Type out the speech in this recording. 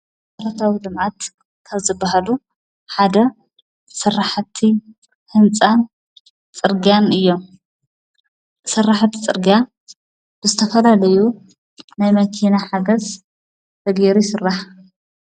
ሠርታዊ ልምዓት ካብዝበሃሉ ሓደ ሠርሕቲ ሕንፃ ጽርጋን እዮ። ሠራሕቲ ጽርጋ ብዝተፈላለዩ ናይ መኪና ሓገስ ዘጌይሩ ይሥራሕ ።